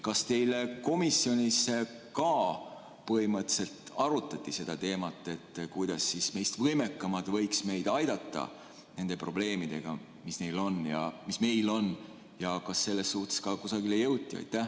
Kas teil komisjonis ka põhimõtteliselt arutati seda teemat, kuidas meist võimekamad võiksid meid aidata nende probleemidega, mis meil on, ja kas selles vallas kusagile ka jõuti?